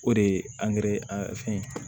O de ye